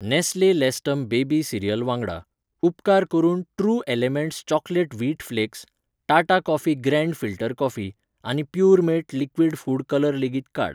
Nestle Lactum baby cereal वांगडा, उपकार करून true elements chocolate wheat flakes, Tata coffee grand filter coffee आनी Puremate liquid food colour लेगीत काड.